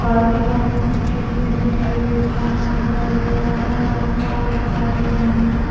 White white पीटटी की बनी हुई हैं खम्बा दिखाई दे रहा हैं और तार दिखाई दे रहै हैं।